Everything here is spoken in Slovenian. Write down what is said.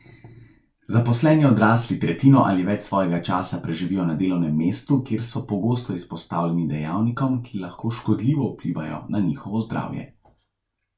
Zaposleni odrasli tretjino ali več svojega časa preživijo na delovnem mestu, kjer so pogosto izpostavljeni dejavnikom, ki lahko škodljivo vplivajo na njihovo zdravje.